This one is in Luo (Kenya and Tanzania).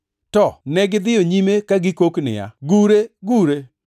To negidhiyo nyime ka gikok niya, “Gure! Gure!”